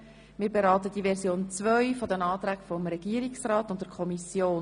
Wir beraten die Version 2 des Antrags des Regierungsrats und der Kommission.